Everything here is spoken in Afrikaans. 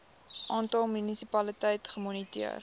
aantal munisipaliteite gemoniteer